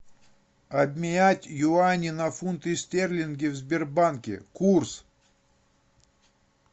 обменять юани на фунты стерлинги в сбербанке курс